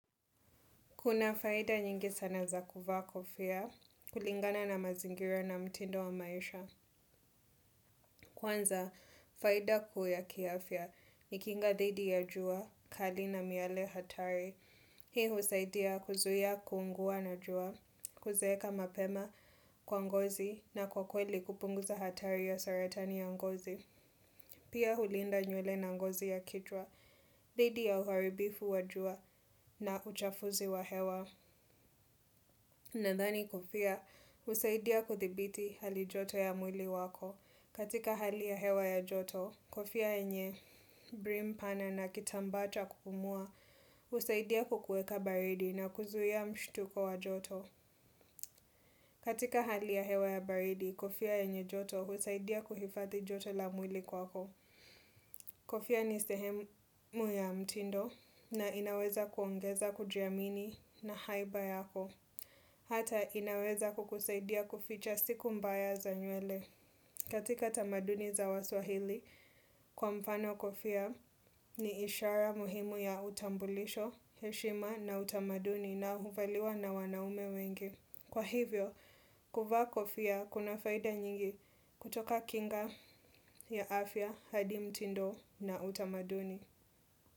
Kuna faida nyingi sana za kuvaa kofia, kulingana na mazingira na mtindo wa maisha. Kwanza, faida kuu ya kiafya, ni kinga dhidi ya jua, kali na miale hatari. Hii husaidia kuzuia kuungua na jua, kuzeeka mapema kwa ngozi na kwa kweli kupunguza hatari ya saratani ya ngozi. Pia hulinda nywele na ngozi ya kichwa, dhidi ya uharibifu wa jua na uchafuzi wa hewa. Nadhani kofia, husaidia kuthibiti hali joto ya mwili wako. Katika hali ya hewa ya joto, kofia yenye brim pana na kitambaa cha kupumua, husaidia kukueka baridi na kuzuia mshtuko wa joto. Katika hali ya hewa ya baridi, kofia yenye joto, husaidia kuhifadhi joto la mwili kwako. Kofia ni sehemu ya mtindo na inaweza kuongeza kujiamini na haiba yako. Hata inaweza kukusaidia kuficha siku mbaya za nywele. Katika tamaduni za waswahili kwa mfano kofia ni ishara muhimu ya utambulisho, heshima na utamaduni na huvaliwa na wanaume wengi. Kwa hivyo, kuvaa kofia kuna faida nyingi kutoka kinga ya afya, hadi mtindo na utamaduni.